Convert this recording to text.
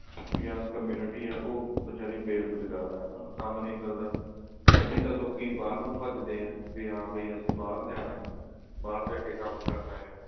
young community ਆ ਉਹ ਬੇਰੁਜ਼ਗਾਰ ਹੈ ਉਹਨਾ ਨੂੰ ਕੰਮ ਨਹੀ ਮਿਲਦਾ ਦੀ ਤਾਂ ਲੋਕਿਨ ਬਾਹਰ ਨੂੰ ਭੱਜਦੇ ਆ ਵੀ ਹਾਂ ਵੀ ਅਸੀਂ ਬਾਹਰ ਜਾਣਾ ਬਾਹਰ ਜਾ ਕੇ ਕੰਮ ਕਰਨਾ ਆ